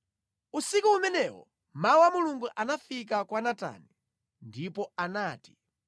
Usiku umenewo mawu a Mulungu anafika kwa Natani, ndipo anati,